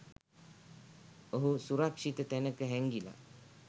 ඔහු සුරක්ෂිත තැනක හැංගිලා